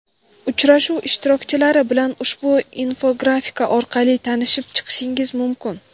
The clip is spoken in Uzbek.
Uchrashuv ishtirokchilari bilan ushbu infografika orqali tanishib chiqishingiz mumkin.